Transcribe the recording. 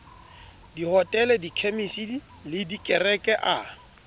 dihotele dikhemisi le dikereke a